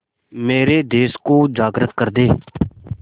मेरे देश को जागृत कर दें